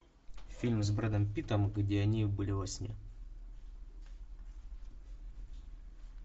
фильм с брэдом питтом где они были во сне